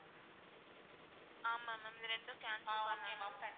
ஆமா ma'am இது ரெண்டும் cancel பண்ணனும்